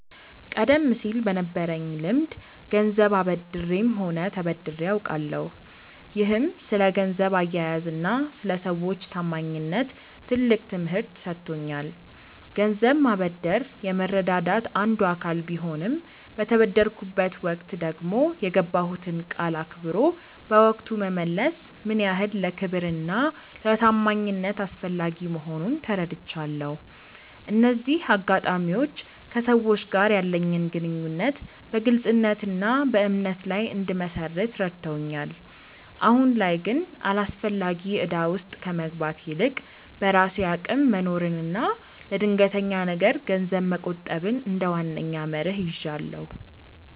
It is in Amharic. ቀደም ሲል በነበረኝ ልምድ ገንዘብ አበድሬም ሆነ ተበድሬ አውቃለሁ፤ ይህም ስለ ገንዘብ አያያዝና ስለ ሰዎች ታማኝነት ትልቅ ትምህርት ሰጥቶኛል። ገንዘብ ማበደር የመረዳዳት አንዱ አካል ቢሆንም፣ በተበደርኩበት ወቅት ደግሞ የገባሁትን ቃል አክብሮ በወቅቱ መመለስ ምን ያህል ለክብርና ለታማኝነት አስፈላጊ መሆኑን ተረድቻለሁ። እነዚህ አጋጣሚዎች ከሰዎች ጋር ያለኝን ግንኙነት በግልጽነትና በእምነት ላይ እንድመሰርት ረድተውኛል። አሁን ላይ ግን አላስፈላጊ እዳ ውስጥ ከመግባት ይልቅ፣ በራሴ አቅም መኖርንና ለድንገተኛ ነገር ገንዘብ መቆጠብን እንደ ዋነኛ መርህ ይዣለሁ።